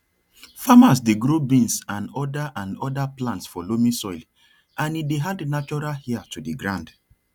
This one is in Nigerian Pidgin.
farmers dey grow beans and other and other plants for loamy soil and e dey add natural air to di ground